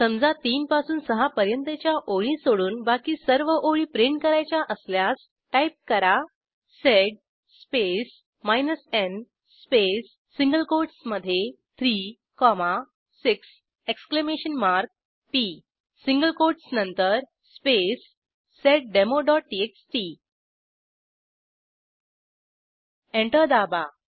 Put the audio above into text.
समजा 3पासून 6पर्यंतच्या ओळी सोडून बाकी सर्व ओळी प्रिंट करायच्या असल्यास टाईप करा sed space n space single कोटसमधे 3 6 p सिंगल कोटस नंतर स्पेस seddemoटीएक्सटी एंटर दाबा